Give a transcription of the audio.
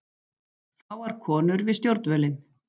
Fáar konur við stjórnvölinn